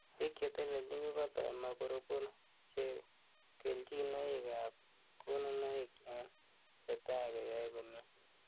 Biik che telelchin, ko kokotoi maburubur chebo kelchinoik ab konunoik en chetai cheyoe komie.